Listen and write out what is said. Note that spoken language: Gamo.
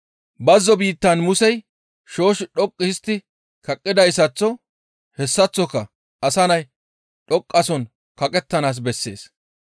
«Bazzo biittan Musey shoosh dhoqqu histti kaqqidayssaththo hessaththoka Asa Nay dhoqqasohon kaqettanaas bessees.